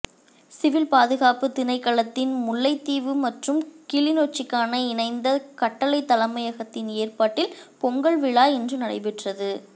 சிவில்ப்பாதுகாப்பு திணைக்களத்தின் முல்லைத்தீவு மற்றும் கிளிநொச்சிக்கான இணைந்த கட்டளைத் தலைமையகத்தின் ஏற்பாட்டில் பொங்கல் விழா இன்று நடைபெற்றது